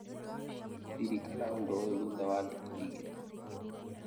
Ririkana ũndũ ũyũ thutha wa thikũ igĩrĩ